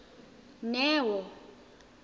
neo